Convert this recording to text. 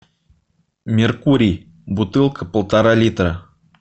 меркурий бутылка полтора литра